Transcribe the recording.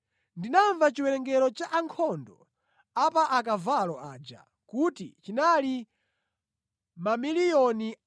Ndinamva chiwerengero cha ankhondo a pa akavalo aja, kuti chinali 200 miliyoni.